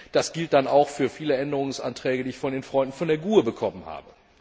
Das gilt dann auch für viele Änderungsanträge, die ich von den Freunden von der GUE bekommen habe.